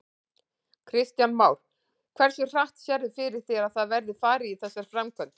Kristján Már: Hversu hratt sérðu fyrir þér að það verði farið í þessar framkvæmdir?